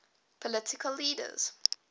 political leaders